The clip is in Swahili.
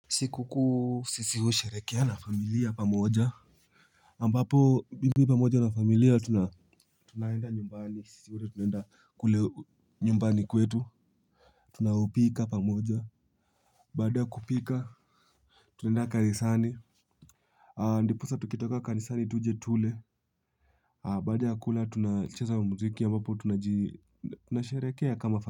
Sikukuu sisi huu sherekea na familia pamoja ambapo bimbi pamoja na familia tunaenda nyumbani sisi wote tunaenda kule nyumbani kwetu. Tunaopika pamoja. Baada ya kupika tunaenda kanisani. Ndiposa tukitoka kanisani tuje tule. Baada ya kula tunacheza muziki ambapo tunasherehekea kama fa.